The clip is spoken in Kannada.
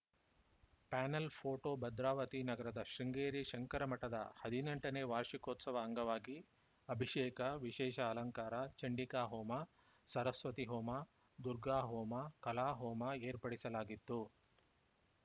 ಪ್ಯಾನೆಲ್‌ ಫೋಟೋ ಭದ್ರಾವತಿ ನಗರದ ಶೃಂಗೇರಿ ಶಂಕರ ಮಠದ ಹದಿನೆಂಟನೇ ವಾರ್ಷಿಕೋತ್ಸವ ಅಂಗವಾಗಿ ಅಭಿಷೇಕ ವಿಶೇಷ ಅಲಂಕಾರ ಚಂಡಿಕಾ ಹೋಮ ಸರಸ್ವತಿ ಹೋಮ ದುರ್ಗಾಹೋಮ ಕಲಾಹೋಮ ಏರ್ಪಡಿಸಲಾಗಿತ್ತು